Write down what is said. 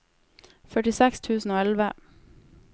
førtiseks tusen og elleve